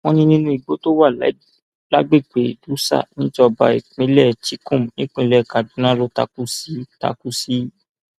wọn ní inú igbó tó wà lágbègbè dutsa níjọba ìbílẹchikum nípínlẹ kaduna ló takú sí takú sí